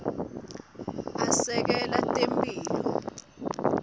asekela temphilo